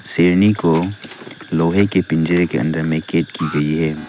शेरनी को लोहे के पिंजरे के अंदर में कैद की गई है।